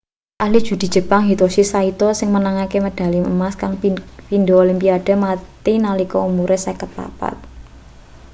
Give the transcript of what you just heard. ahli judi jepang hitoshi saito sing menangke medali emas kaing pindo olimpiade mati nalika umure 54